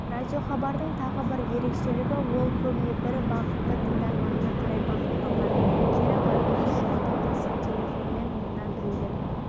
радиохабардың тағы бір ерекшелігі ол көбіне бір бағытты тыңдарманына қарай бағытталған кері байланыс жоқтың қасы телефонмен мыңнан біреулер